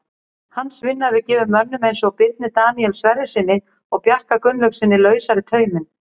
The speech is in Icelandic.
Hans vinna hefur gefið mönnum eins og Birni Daníel Sverrissyni og Bjarka Gunnlaugssyni lausari tauminn.